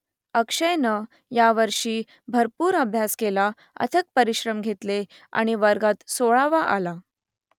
अक्षयनं यावर्षी भरपूर अभ्यास केला अथक परिश्रम घेतले आणि वर्गात सोळावा आला